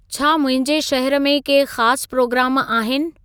छा मुंहिंजे शहर में के ख़ास प्रोग्राम आहिनि